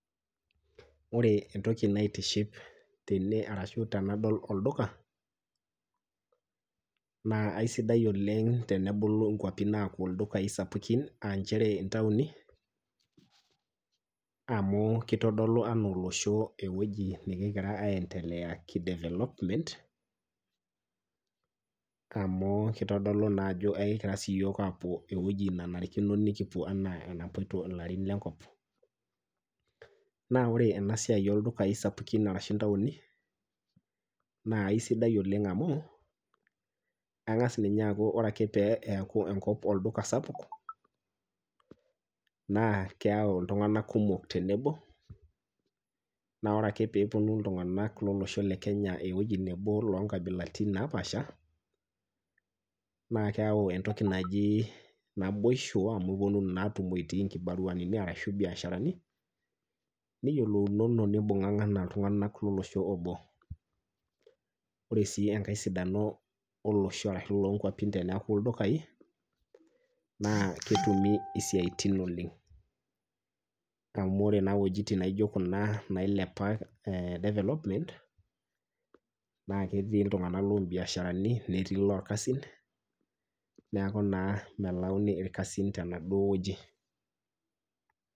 Ore entoki naitiship tene ashu tenadol olduka naa aisidai oleng' tenebulu nkapi aaku ldukai sapukin naa nchere inatoni ,amu kitodolu ana olosho king'ira endelea enaa ki development amu kitodolu naa ajo kipoito siiyiok eweji nenarikino nikipuo enaa enapoito ilarin lenkop. naa ore ena siai oldukai sapukin arashu ntaoni naa isidan oleng' amu ,ore ninye pee engas enkop aaku olduka sapuk, naa keyau iltung'anak kumok tenebo ,naa ore ake pee eponu iltung'anak lo losho le kenya eweji nebo loonkabilaritin naapaasha naa keyau entoki naji naboisho amu iponunu naa atumo itii nkibaruani ashu mbiasharani, niyiolounono nimbung'ang'a enaa iltung'anak lolosho obo .ore sii enkae sidano olosho ashu nkwapi teneeku ildukai naa ketumito isiaitin oleng'.amu ore naa wejitin naijo kuna nailepa development naa ketii iltung'anak loobisharani netii ilorkasin neeku naa melauni irkasin tenaduo weji.